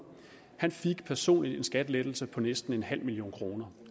han fik personligt en skattelettelse på næsten en halv million kroner